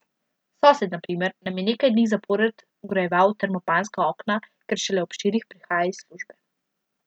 Sosed, na primer, nam je nekaj dni zapored vgrajeval termopanska okna, ker šele ob štirih prihaja iz službe.